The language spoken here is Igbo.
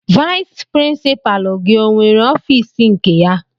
Vayis pirinsipaalu gị ọnwere ọfiisi nke ya?